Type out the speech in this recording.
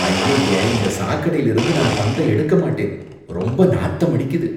அய்யய்ய! இந்த சாக்கடைல இருந்து நான் பந்த எடுக்க மாட்டேன். ரொம்ப நாத்தம் அடிக்குது